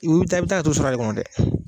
I wu taa i bi taa a to sa de kɔnɔ dɛ